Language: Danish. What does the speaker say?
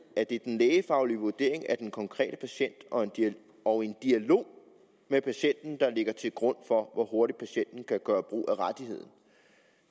at det er den lægefaglige vurdering af den konkrete patient og en og en dialog med patienten der ligger til grund for hvor hurtigt patienten kan gøre brug af rettigheden